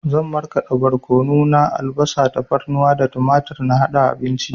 Zan marƙada borkono na, albasa, tafarnuwa da tumatur na haɗa abinci